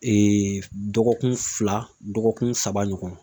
dɔgɔkun fila dɔgɔkun saba ɲɔgɔn